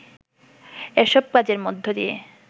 এসব কাজের মধ্য দিয়ে